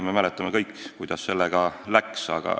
Me mäletame kõik, kuidas sellega läks.